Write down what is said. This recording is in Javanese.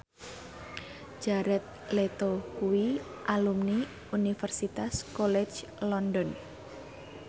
Jared Leto kuwi alumni Universitas College London